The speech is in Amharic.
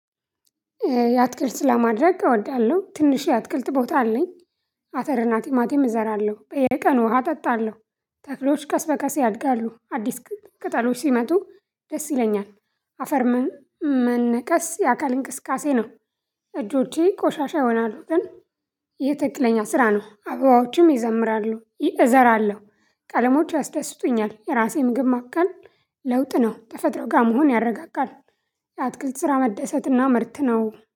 የአትክልት ስላማድረግ እወዳለሁ ትንሽ የአትክልት ቦታ አለኝ አተር ቲማቲም እዘራለሁ በየቀኑ ውሃ እጠጣለሁ። ተክሎች ቀስበቀስ ያድጋሉ አዲስ ቅጠሎች ሲመጡ ደስ ይለኛል። አፈርሙን መነቀስ የአካል እንቅስቃሴ ነው። እጆቼ ቆሻሻ ይሆናሉ ግን። ይህ ትክክለኛ ስራ ነው አበባዎችም ይዘምራሉ እዘራለሁ ቀለሞች ያስደስቱኛል የራሴ ምግብ ማብቅልንጠ። ለውጥ ነው ተፈጥሮ ጋር መሆን ያረጋጋል። የአትክልት ስራ መደሰትና ምርት ነው